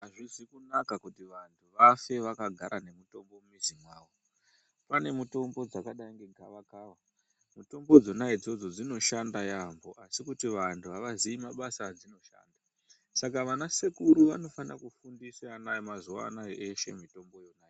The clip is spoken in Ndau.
Azvizi kunaka kuti vantu vafe vakagara nemitombo mumizi yavo pane mutombo dzakadai negavakava mitombo dzona idzodzo dzinoshanda yaambo asi kuti vantu avaziyi mabasa adzinoshanda saka vanasekuru vanofana kufundisa ana emazuwa anaya eshe mitomboyo.